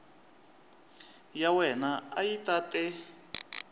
ya wena a yi tate